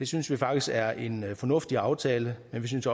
synes vi faktisk er en fornuftig aftale men vi synes